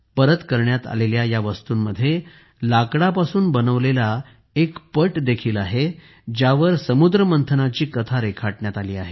परत करण्यात आलेल्या वस्तूंमध्ये लाकडापासून बनवलेला एक तक्ता आहे ज्यावर समुद्रमंथनाची कथा रेखाटली आहे